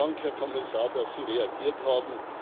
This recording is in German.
Vielen Dank, Herr Kommissar, dass Sie reagiert haben.